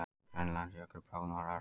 Grænlandsjökull bráðnar ört